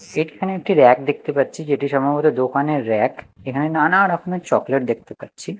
এখানে একটি ব়্যাক দেখতে পাচ্ছি যেটি সম্ভবত দোকানের ব়্যাক এখানে নানা রকমের চকলেট দেখতে পাচ্ছি।